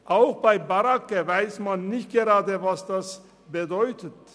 Auch bei Barracken ist nicht klar, was das genau bedeutet.